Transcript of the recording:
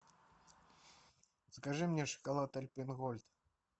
закажи мне шоколад альпен гольд